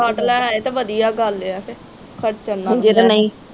suit ਸਾਟ ਲੈ ਆਵੇ ਤਾ ਵਧੀਆ ਗੱਲ ਆ ਕੇ ਖਰਚਣ ਨਾਲੋਂ